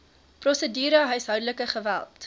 prosedure huishoudelike geweld